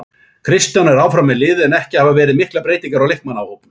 Kristján er áfram með liðið en ekki hafa verið miklar breytingar á leikmannahópnum.